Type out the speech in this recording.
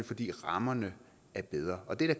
fordi rammerne er bedre og det